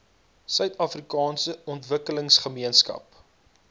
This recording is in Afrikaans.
suider afrikaanse ontwikkelingsgemeenskap